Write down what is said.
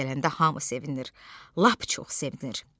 O gələndə hamı sevinir, lap çox sevinir.